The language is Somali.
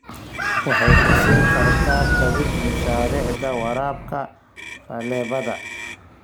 Waxay ku siin kartaa kabid mashaariicda waraabka faleebada.